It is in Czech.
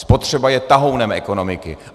Spotřeba je tahounem ekonomiky.